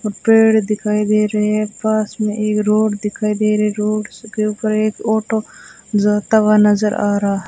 पेड़ दिखाई दे रहे हैं पास में एक रोड दिखाई दे रही रोड के ऊपर एक ऑटो जाता हुआ नजर आ रहा--